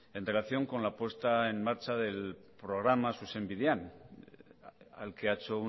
en relación con la puesta en marcha del programa zuzen bidean al que ha hecho